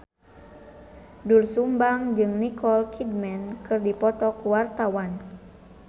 Doel Sumbang jeung Nicole Kidman keur dipoto ku wartawan